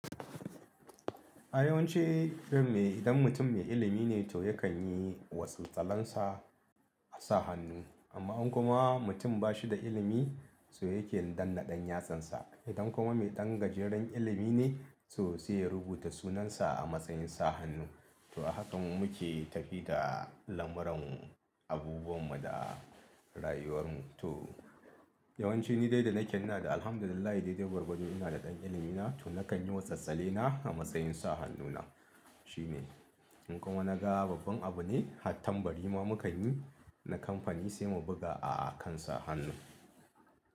A yawance irin me idan mutum mai ilimi ne to yakan yi wasu tsalansa a sa hannu amma in kuma mutum bashi da ilimi so yake danna ɗan yatsansa. Idan kuma mai ɗan gajeren ilimi ne so sai ya rubuta sunansa a matsayin sa hannu. To a haka muke tafiya da lamuran abubuwan mu da rayuwar mu. To yawanci ni dai da na ke ina ɗan alhamdulillah dadai gwargwado ina da ɗan ilimi na to nakan yi wasu tsale na a matsayin sa hannu na. Shi ne. In kuma na ga babban abu ne, hattambari ma mukan yi na kamfani sai mu buga a'a kansa hannu.